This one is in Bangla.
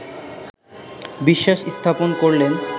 বিশ্বাস স্থাপন করলেন